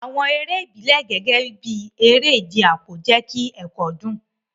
Àwọn eré ìbílẹ̀, gẹ́gẹ́ bí eré ìje àpò, jẹ́ kí ẹ̀kọ́ dùn.